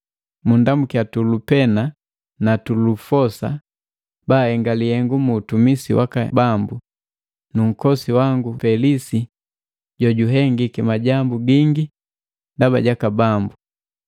Munndamuki Tulupena na Tulufosa baahenga lihengu mu utumisi waka Bambu, nu nkosi wangu Pelisi jonumpai jojuhengiki majambu gingi ndaba jaka Bambu.